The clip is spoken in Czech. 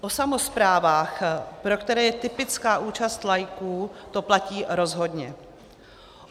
O samosprávách, pro které je typická účast laiků, to platí rozhodně.